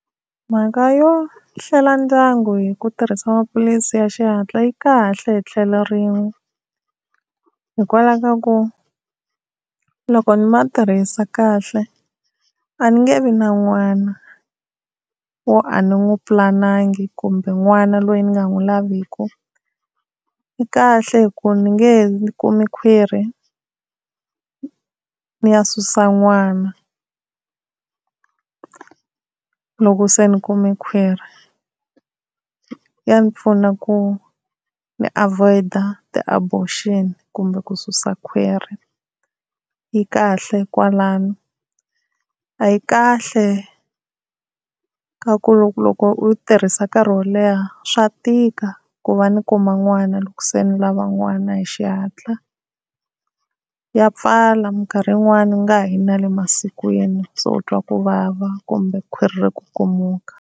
Mhaka yo hlela ndyangu hi ku tirhisa maphilisi ya xihatla yi kahle hi tlhelo rin'we, hikwalaho ka ku loko ni ma tirhisa kahle a ni nge vi na n'wana wo a ni n'wi pulanangi kumbe n'wana loyi ni nga n'wi lavikiki. Yi kahle hi ku ni nge he kumi khwiri ni ya susa n'wana loko se ni kumi khwiri, ya ni pfuna ku ni avoid-a ti-abortion kumbe ku susa khwiri, yi kahle kwalano. A yi kahle ka ku loko loko u tirhisa nkarhi wo leha swa tika ku va ni kuma n'wana loko se ni lava n'wana hi xihatla. Ya pfala minkarhi yin'wana u nga ha yi na le masin'wini, se u twa ku vava kumbe khwiri ri kukumuka.